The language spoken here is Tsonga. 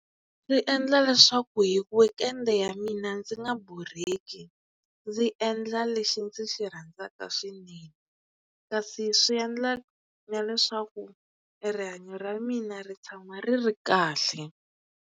Swi endla leswaku hi weekend ya mina ndzi nga borheki ndzi endla lexi ndzi xi rhandzaka swinene kasi swi endla na leswaku e rihanyo ra mina ri tshama ri ri kahle.